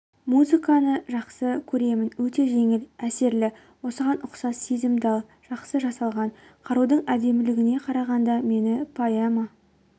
музыканы жақсы көремін өте жеңіл әсерлі осыған ұқсас сезімтал жақсы жасалған қарудың әдемілігіне қарағанда мені поэма